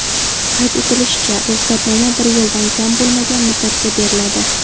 Qayd etilishicha, ruxsatnoma bir yildan kam bo‘lmagan muddatga beriladi.